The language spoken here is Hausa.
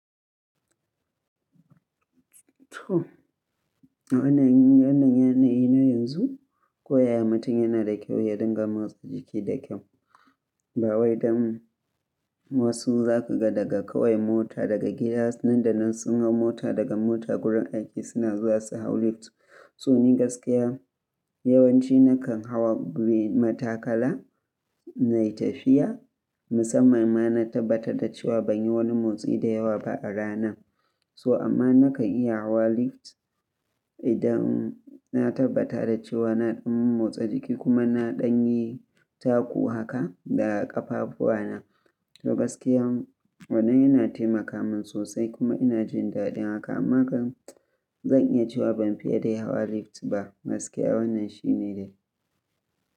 To, a wannan yanayi na yanzu, ko yaya mutum yana da kyau ya dinga motsa jiki da kyau. Bawai dan wasu za kaga daga kawai mota daga gida nan da nan sun ga mota daga mota gurin aiki suna zuwa su hau lift. Toh in gaskiya, yawanci nakan hawa biyu matakala na yi tafiya. Musamman ma na tabbata da cewa ban yi wani motsi da yawa ba a rana. So amma nakan iya hawa lift idan na tabbata da cewa na ɗan motsa jiki kuma na ɗan yi taku haka da ƙafafuwa na. To gaskiya wannan yana taimaka min sosai kuma ina jin daɗin haka. Amma kam zan iya cewa ban fiye da hawa lift ba. Gaskiya wannan shi ne dai.